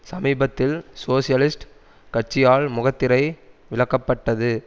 சமீபத்தில் சோசியலிஸ்ட் கட்சியால் முகத்திரை விலக்கப்பட்டது